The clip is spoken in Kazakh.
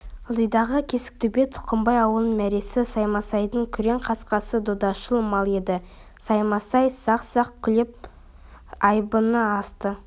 ылдидағы кесіктөбе тұқымбай ауылының мәресі саймасайдың күрең қасқасы додашыл мал еді саймасай сақ-сақ күліп айбыны асты